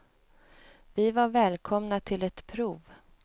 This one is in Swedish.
Vi var välkomna till ett prov.